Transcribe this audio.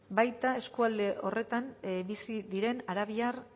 baita eskualde horretan bizi diren arabiar